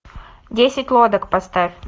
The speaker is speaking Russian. десять лодок поставь